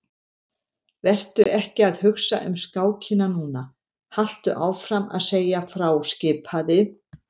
Vertu ekki að hugsa um skákina núna, haltu áfram að segja frá skipaði